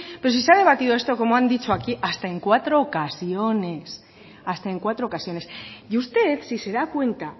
pero si se ha debatido esto como han dicho aquí en cuatro ocasiones hasta en cuatro ocasiones y usted si se da cuenta